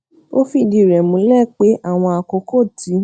ó fìdí rẹ múlẹ pé àwọn àkókò tí